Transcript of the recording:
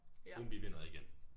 Umbi vender igen